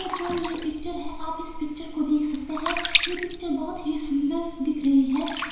जो ये पिक्चर है। आप इस पिक्चर को देख सकते हैं ये पिक्चर बहोत ही सुंदर दिख रही है।